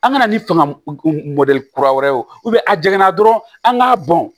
An ka na ni fanga mɔdɛli kura wɛrɛ ye o a jiginna dɔrɔn an k'a bɔn